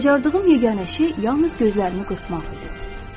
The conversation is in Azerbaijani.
Bacardığım yeganə şey yalnız gözlərimi qırpmaq idi.